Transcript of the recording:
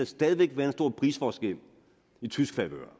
stadig væk være en stor prisforskel i tysk favør